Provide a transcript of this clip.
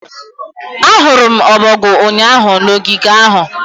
Ahụrụ m ọbọgwụ ụnyaahụ na ogige ahụ